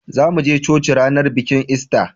zamu je coci ranar bikin ista